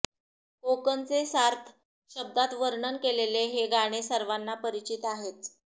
कोकणचे सार्थ शब्दात वर्णन केलेले हे गाणे सर्वांना परिचित आहेच